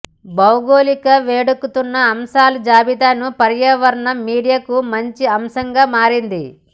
భౌగోళిక వేడెక్కుతున్న అంశాల జాబితాను పర్యావరణం మీడియాకు మంచి అంశంగా మారింది